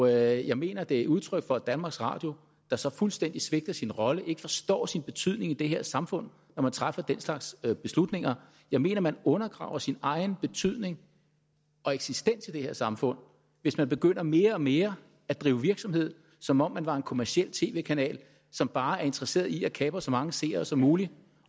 jeg mener det er udtryk for et danmarks radio der så fuldstændig svigter sin rolle og ikke forstår sin betydning i det her samfund når man træffer den slags beslutninger jeg mener at man undergraver sin egen betydning og eksistens i det her samfund hvis man begynder mere og mere at drive virksomhed som om man var en kommerciel tv kanal som bare er interesseret i at kapre så mange seere som muligt